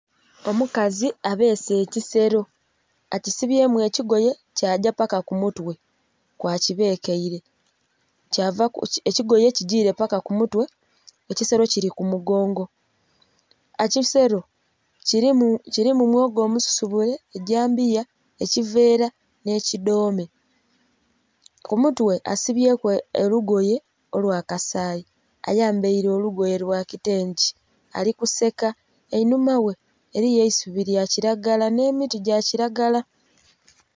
Omukazi abeese ekisero akisibyemu ekigoye kyagya paka kumutwe kwakibeekeire, ekigoye kigire paka kumutwe ekisero kirikumugongo, ekisero kirimu mwogo omususubule, gyambiya, ekivera, n'ekidhome. Kumutwe asibyeku olugoye olwakasayi, ayambeire olugoye lwakitengi alikuseka einuma ghe eriyo eisubi lyakiragala n'emiti gyakiragala.